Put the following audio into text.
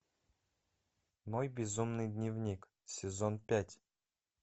мой безумный дневник сезон пять